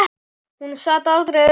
Hún sat aldrei auðum höndum.